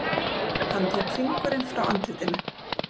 Hann tók fingurinn frá andlitinu.